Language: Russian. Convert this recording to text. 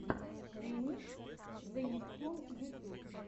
ремикс зе нептун ютюб